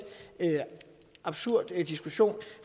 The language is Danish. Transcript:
absurd diskussion